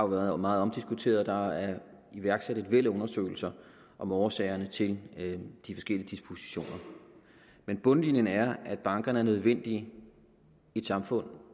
været meget omdiskuteret og der er iværksat et væld af undersøgelser om årsagerne til de forskellige dispositioner men bundlinjen er at bankerne er nødvendige i et samfund